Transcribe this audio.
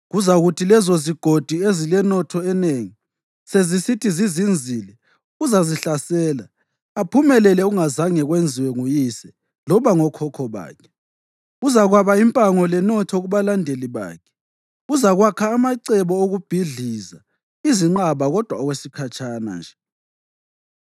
Kuzakuthi lezozigodi ezilenotho enengi sezisithi zizinzile uzazihlasela aphumelele okungazange kwenziwe nguyise loba ngokhokho bakhe. Uzakwaba impango lenotho kubalandeli bakhe. Uzakwakha amacebo okubhidliza izinqaba kodwa okwesikhatshana nje.